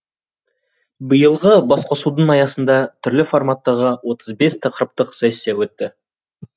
биылғы басқосудың аясында түрлі форматтағы отыз бес тақырыптық сессия өтті